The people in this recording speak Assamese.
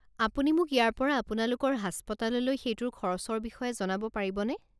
আপুনি মোক ইয়াৰ পৰা আপোনালোকৰ হাস্পতাললৈ সেইটোৰ খৰচৰ বিষয়ে জনাব পাৰিবনে?